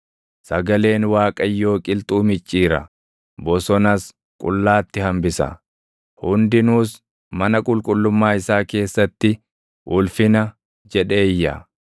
Sagaleen Waaqayyoo qilxuu micciira; bosonas qullaatti hambisa. Hundinuus mana qulqullummaa isaa keessatti, “Ulfina!” jedhee iyya.